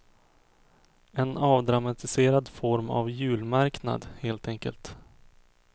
En avdramatiserad form av julmarknad, helt enkelt.